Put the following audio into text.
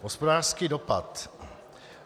Hospodářský dopad.